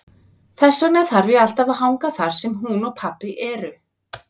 Þess vegna þarf ég alltaf að hanga þar sem hún og pabbi eru.